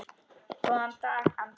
Góðan dag, Andri!